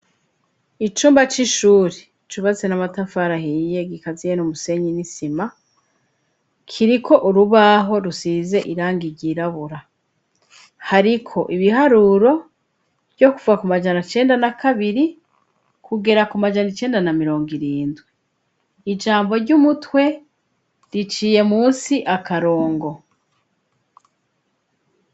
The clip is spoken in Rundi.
icumba c'ishure cubatse n'amatafari ahiye gikaziye n' umusenyi n'isima kiriko urubaho rusize irangi ryirabura hariko ibiharuro ryo kuvuga ku majana cenda na kabiri kugera ku majana icenda na mirongo irindwi ijambo ry'umutwe riciye munsi akarongo